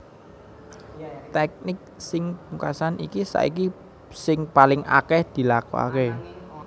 Tèknik sing pungkasan iki saiki sing paling akèh dilakokaké